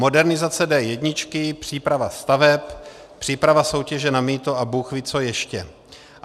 Modernizace D1, příprava staveb, příprava soutěže na mýto a bůhví co ještě.